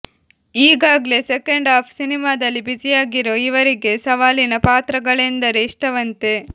ಈಗಾಗ್ಲೆ second half ಸಿನಿಮಾದಲ್ಲಿ ಬ್ಯುಸಿಯಾಗಿರೋ ಇವರಿಗೆ ಸವಾಲಿನ ಪಾತ್ರಗಳೆಂದರೆ ಇಷ್ಟವಂತೆ